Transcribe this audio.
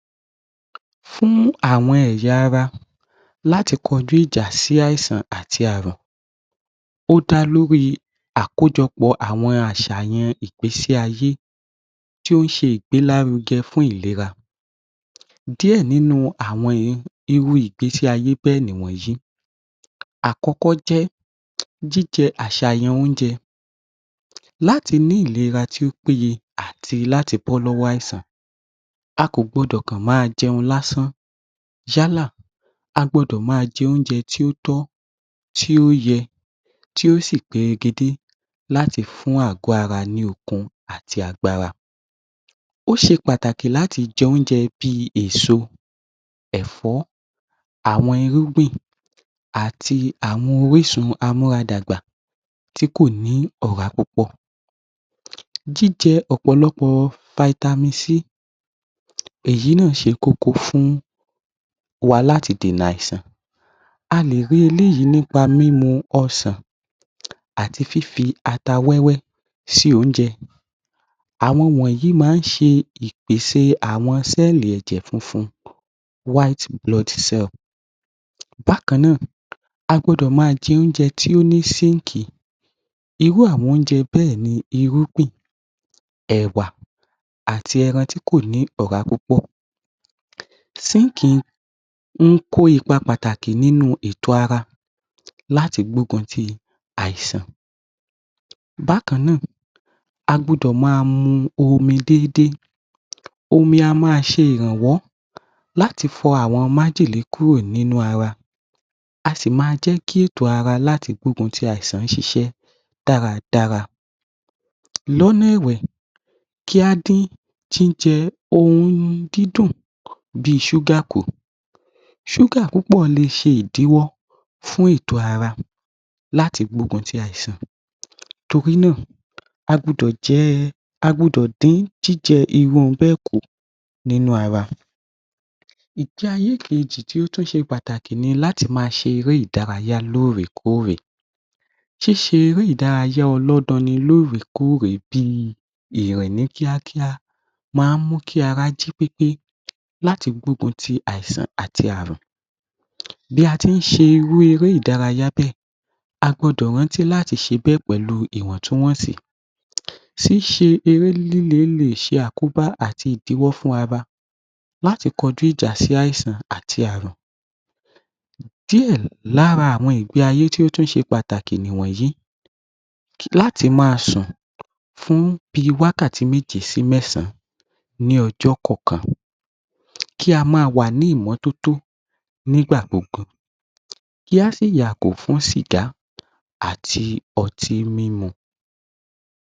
‎Fún àwọn ẹ̀yà Ara láti kọjú ìjà sí ààrùn ó dá lórí àkójọpọ̀ àwọn àṣàyàn ìgbésí ayé tí ó ń ṣe ìgbé lárugẹ fún ìlera díẹ̀ lára àwọn irú ìgbésí ayé bẹ́ẹ̀ ni ìwọnyí àkọ́kọ́ jẹ́ àṣàyàn oúnjẹ láti ní ìlera tó péye àti láti bọ́ lọ́wọ́ àìsàn ásán a kò kan gbọdọ máa jẹun lásán yálà a gbọ́dọ̀ máa jẹun tí ó tọ́ tí ó yẹ tí ó sì peregedé láti fún ààgọ́ ara ní okun ati agbára ó ṣe pàtàkì láti jẹ oúnjẹ bíi èso Ẹ̀fọ́ àwọn irúgbìn ó ṣe pàtàkì láti jẹ oúnjẹàti àwọn orísun amára dàgbà tí kò ní ọ̀rá púpọ̀ jíjẹ Ọ̀pọ̀lọpọ̀ vitamin C èyí ni ìṣe kókó fún wa láti dènà àìsàn a lè rí eléyìí nípa mímú ọsàn àti fífi ata wẹ́wẹ́ ṣí oúnjẹ àwọn wọ̀nyí máa ń ṣe ìpèsè Cell ẹ̀jẹ̀ funfun white blood cell bákan náà a gbọdọ̀ máa jẹ oúnjẹ tó ní Zinc, irú àwọn oúnjẹ bẹẹ ni irúgbìn Ẹ̀wà, ẹran tí kò ní ọ̀rá púpọ̀ Zinc Ń KÓ ipa pataki ninu ara láti gbógun ti àìsàn bákan náà a gbọdọ̀ máa mu omi déédéé omi a máa ṣe ìrànwọ́ láti fọ àwọn májèlé kúrò nínú ara a sì máa jẹ́ kí ètò ara láti gbógun ti àìsàn ṣiṣẹ́, dára dára lọ́nà ẹ̀wẹ̀ kí á dín jíjẹ ohun dídùn bíi șúgà kù, Ṣúgà púpọ̀ lè ṣe ìdíwọ́ fún èètò ara láti gbógun ti àìsàn nítorí náà a gbọ́dọ̀ dín jíjẹ irú ohun bẹ́ẹ̀ kù nínú ara, yí tí ó tún ṣe pàtàkì ni láti máa ṣe eré ìdárayá lóòrè kóòrè ṣíṣe eré ìdárayá ọlọ́danni lóòrè kóòrè bíi ìrọ̀lẹ́ máa ń mú kí ara jí pépé láti gbógun ti àìsàn àti Ààrùn bí a ti ń ṣe eré ìdárayá bẹ́ẹ̀ a gbọdọ rántí láti ṣe bẹ́ẹ̀ pẹ̀lú ìwọ̀ntúnwọ̀nsì ṣíṣe eré líle lè ṣe àkóbá àti ìdíwọ́ fún ara láti kọjú ìjà sí àìsàn àti Ààrùn díẹ̀ lára àwọn ìgbé ayé tí ó ṣe pàtàkì ni ìwọnyí láti máa sùn fún bíi wákàtí méje sí mẹ́sàn án ní ọjọ́ kọọkan kí a máa wà ní ìmọ́totó nígbà gbogbo kí á sì yàgò fún sìgá àti ọtí mímu